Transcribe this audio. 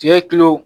Tigɛ kilo